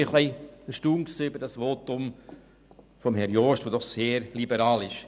Ich war ein bisschen erstaunt über das Votum von Grossrat Jost, der doch sehr liberal ist.